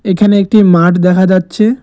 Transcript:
এখানে একটি মাঠ দেখা যাচ্ছে।